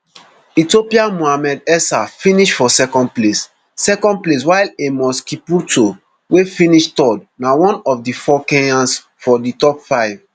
ethiopia mohamed esa finish for second place second place while amos kipruto wey finish third na one of di four kenyans for di top five